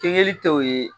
Kinbiri tɛ o ye